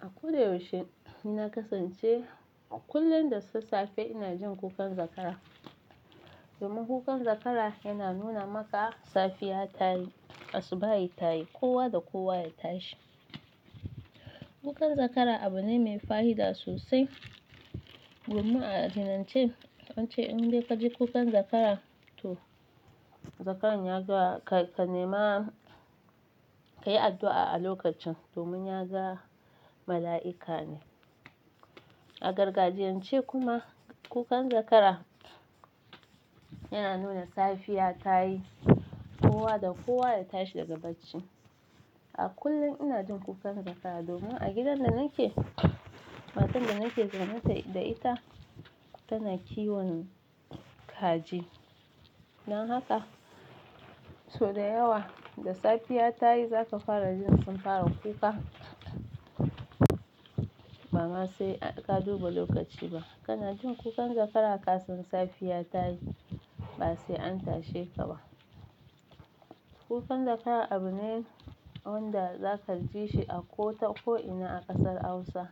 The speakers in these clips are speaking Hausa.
A ko da yaushe ni na kasance a kullum da sassafe ina jin kukan zakara. Domin kukan zakara yana nuna maka safiya ta yi, asuba ya yi, kowa da kowa ya tashi. Kukan zakara abu ne mai fahida sosai. Domin addinance an ce in dai ka ji kukan zakara to zakaran ya ga ka, ka nema ka yi addu'a a lokacin domin ya ga mala'ika ne. A gargajiyan ce kuma kukan zakara yana nuna safiya ta yi, kowa da kowa ya tashi daga bacci. A kullum ina jin kukan zakara domin a gidan da nake, matar da nake zaune da ita tana kiwon kaji. Dan haka so da yawa da safiya ta yi za ka fara jin sun fara kuka. Ba ma sai ka duba lokaci ba, kana jin kukan zakara ka san safiya ta yi, ba sai an tashe ka ba. Kukan zakara abu ne wanda za ka ji shi a ko ta ko'ina a kasar Hausa.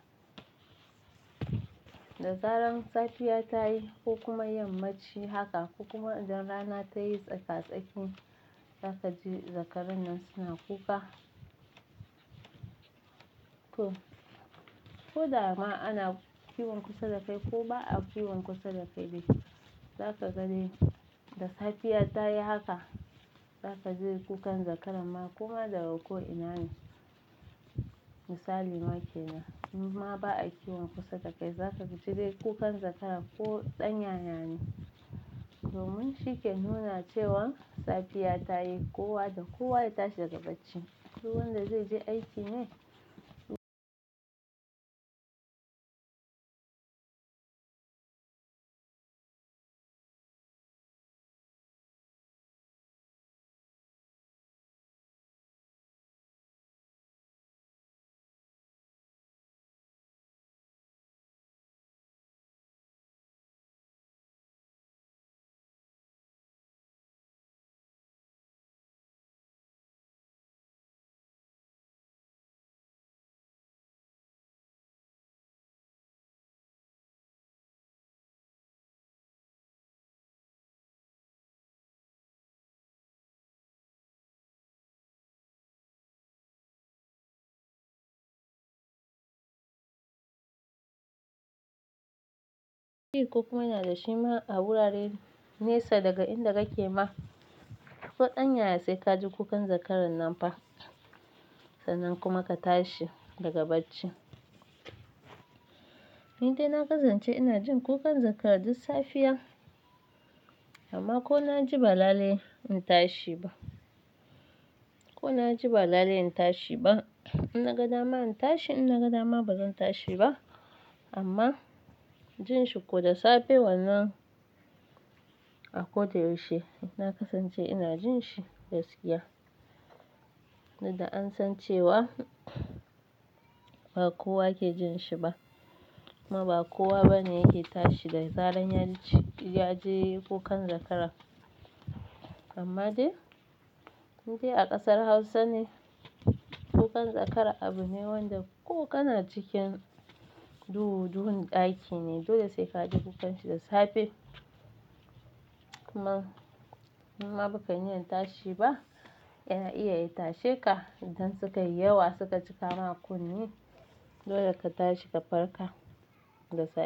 Da zaran safiya ta yi ko kuma yammaci haka ko kuma idan rana ta yi tsaka-tsakin za ka ji zakarannin suna kuka. To, ko da ma ana kiwon kusa da kai ko ba a kiwon kusa da kai ba, za ka ga dai da safiya ta yi haka za ka ji kukan zakaran ma kuma da ga ko'ina ne. Misali make nan, in ma ba a kiwon kusa da kai za ka ji dai kukan zakara ko ɗan yayana. Domin shi ke nuna cewan safiya ta yi, kowa da kowa ya tashi daga bacci. Duk wanda zai je aiki ne. Shi ko kuma yana da shima a wuraren nesa daga inda kake ma. Ko ɗan yayana sai ka ji kukan zakaran nan fa. Sannan kuma ka tashi daga bacci. Ni dai na kasance ina jin kukan zakara duk safiya amma ko na ji ba lale in tashi ba. Ko na ji ba lale in tashi ba. In na ga dama in tashi, in na ga dama bazan tashi ba. Amma jin shi ko da safe wannan a ko da yaushe na kasance ina jin shi gaskiya. Dukda an san cewa ba kowa ke jin shi ba kuma ba kowa bane yake tashi da zaran ya ji, ya ji kukan zakara. Amma dai, ni dai a kasar Hausa ne kukan zakara abu ne wanda ko kana cikin duhu duhun ɗaki ne dole sai ka ji kukan shi da safe. Kuma in ma ba ka niyyar tashi ba yana iya ya tashe ka idan suka yi yawa suka cika maka kunne. Dole ka tashi ka farka da safe.